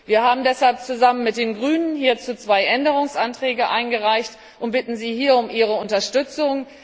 Wir haben deshalb zusammen mit den Grünen zwei Änderungsanträge eingereicht und bitten Sie um Ihre Unterstützung.